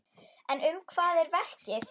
En um hvað er verkið?